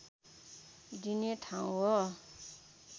दिने ठाउँ हो